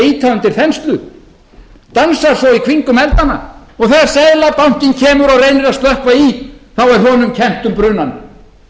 ýta undir þenslu dansa svo í kringum eldana og þegar seðlabankinn kemur og reynir að slökkva í þá er honum kennt um brunann